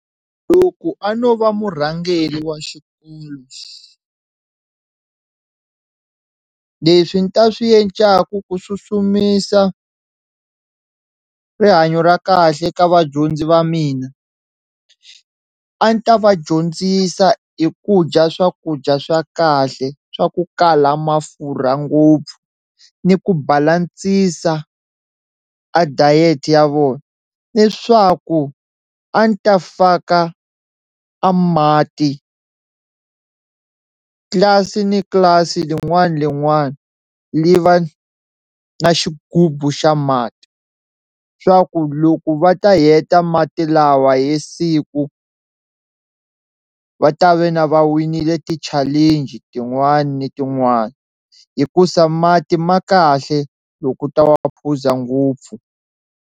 Loko a no va murhangeli wa xikolo leswi ni ta swi yencaku ku susumisa rihanyo ra kahle eka vadyondzi va mina a ni ta va dyondzisa hi ku dya swakudya swa kahle swa ku kala mafurha ngopfu ni ku balance-isa a diet ya vona leswaku a ni ta faka a mati tlilasi ni tlilasi, lin'wana na lin'wana li va na xigubu xa mati swa ku loko va ta heta mati lawa hi siku va ta ve na va winile ti-challenge tin'wana ni tin'wana hikusa mati ma kahle loko u ta va u phuza ngopfu.